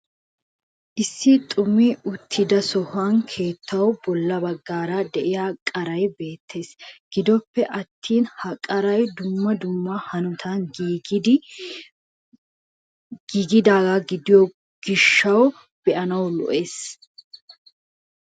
Issi xumi uttida sohuwaan keettawu bolla baggaara de'iyaa kaaray beettees. Gidoppe attin ha kaaray dumma dumma hanotan giigidaaga gidiyoo gishaw be'anaw lo"ees.